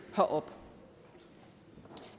herop og